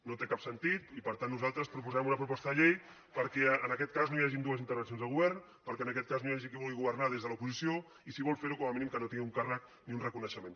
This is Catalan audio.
no té cap sentit i per tant nosaltres proposem una proposta de llei perquè en aquest cas no hi hagin dues intervencions del govern perquè en aquest cas no hi hagi qui vulgui governar des de l’oposició i si vol fer ho com a mínim que no tingui un càrrec ni un reconeixement